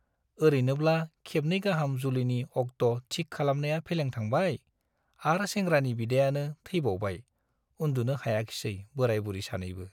औरैनोब्ला खेबनै गाहाम जुलिनि अक्ट'थिक खालामखानाया फेलें थांबाय , आर सेंग्रानि बिदायानो थैबावबाय उन्दुनो हायाखिसै बोराय- बुरि सानैबो ।